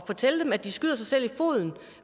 fortælle dem at de skyder sig selv i foden